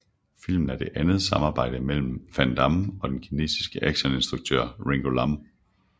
Filmen er det andet samarbejde mellem Van Damme og den kinesiske actioninstruktør Ringo Lam